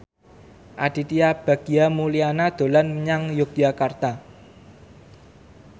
Aditya Bagja Mulyana dolan menyang Yogyakarta